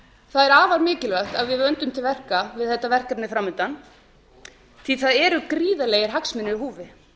er afar mikilvægt að við vöndum til verka við þetta verkefni fram undan því það eru gríðarlegir hagsmunir í húfi